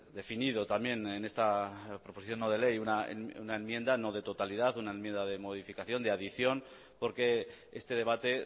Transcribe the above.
definido también en esta proposición no de ley una enmienda no de totalidad una enmienda de modificación de adicción porque este debate